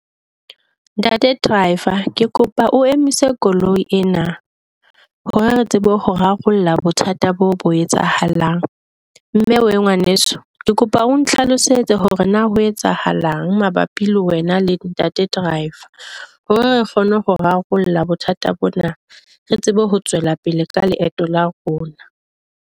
Ntate driver ke kopa o emise koloi ena hore re tsebe ho rarolla bothata bo bo etsahalang, mme we ngwaneso, ke kopa o hlalosetse hore na ho etsahalang mabapi le wena le ntate driver. Hore re kgone ho rarolla bothata bona, re tsebe ho tswela pele ka leeto la rona.